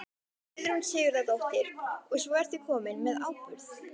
Guðrún Sigurðardóttir: Og svo ertu kominn með áburð?